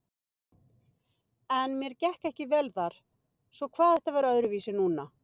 En mér gekk ekki vel þar, svo hvað ætti að vera öðruvísi núna?